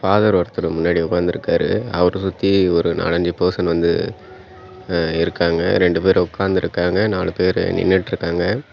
Father ஒருத்தர் முன்னாடி உக்காந்திருக்காரு அவர சுத்தி ஒரு நாலஞ்சு பர்சன் வந்து இருக்காங்க ரெண்டு பேர் உக்காந்துருக்காங்க நாலு பேர் நின்னுட்ருக்காங்க.